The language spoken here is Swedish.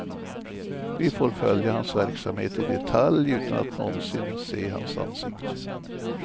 Vi får följa hans verksamhet i detalj utan att någonsin se hans ansikte.